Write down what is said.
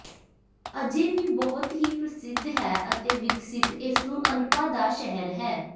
ਅਜੇ ਵੀ ਬਹੁਤ ਹੀ ਪ੍ਰਸਿੱਧ ਹੈ ਅਤੇ ਵਿਕਸਿਤ ਇਸ ਨੂੰ ਅਨਪਾ ਦਾ ਸ਼ਹਿਰ ਹੈ